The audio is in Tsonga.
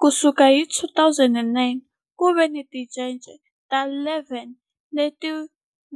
Ku sukela hi 2009, ku ve ni tincece ta 11 leti